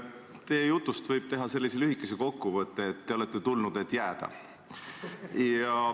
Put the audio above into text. Teie jutust võib teha sellise lühikese kokkuvõtte, et te olete tulnud, et jääda.